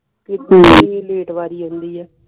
late ਬਾਰੀ ਆਉਂਦੀ ਹੈ